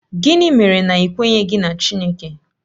Gịnị mere na i kweghị na Chineke?